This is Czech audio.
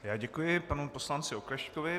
Já děkuji panu poslanci Oklešťkovi.